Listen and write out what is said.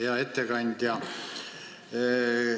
Hea ettekandja!